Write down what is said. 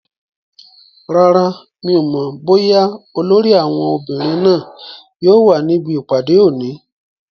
Rárá, mi ò mọ̀ bóyá olórí àwọn obìnrin náà yóò wà níbi ìpàdé òní